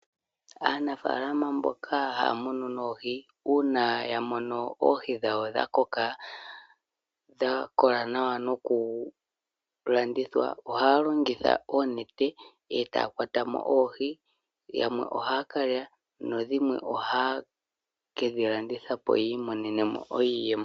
Aanafaalama mboka haya munu noohi uuna ya mono oohi dhawo dha koka dha kola nawa nokulandithwa ohaya longitha oonete e taya kwata mo oohi. Yamwe ohaya kalya nadhimwe ohaye ke dhi landitha po yi imonene mo iiyemo.